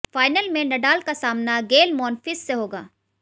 final में Nadal का सामना गेल मॉनफिस से होगा